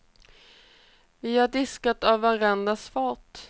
Vi har diskat av varandras fat.